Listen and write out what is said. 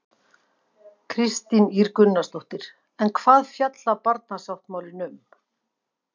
Kristín Ýr Gunnarsdóttir: En hvað fjallar barnasáttmálinn um?